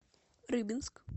рыбинск